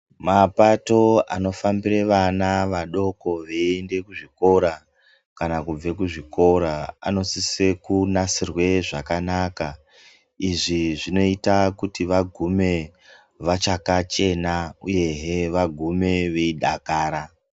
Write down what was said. Mapato anofambire vana vadoko veiende kuzvikora kana kubve kuzvikora anosise kunasirwe zvakanaka izvi zvinoita kuti vagume vachakachena uyehe vagume veidakara.